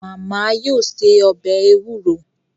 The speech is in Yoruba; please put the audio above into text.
Màmá yóò se ọbẹ̀ ewúro